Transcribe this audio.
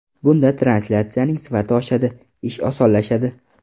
Bunda translyatsiyaning sifati oshadi, ish osonlashadi.